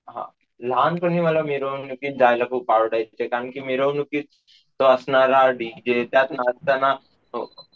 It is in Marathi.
हा लहानपणी मला मिरवणुकीत जायला खूप आवडायचे कारण कि मिरवणुकीत तो असणारा डीजे त्यात नाचताना,